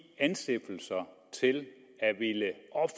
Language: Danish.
anstiftelser til